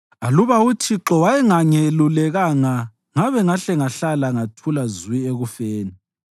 Aluba uThixo wayengangelulekanga, ngabe ngahle ngahlala ngathula zwi ekufeni.